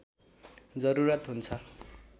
जरुरत हुन्छ